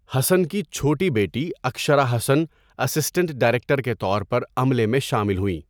حسن کی چھوٹی بیٹی اکشرا حسن اسسٹنٹ ڈائریکٹر کے طور پر عملے میں شامل ہوئیں۔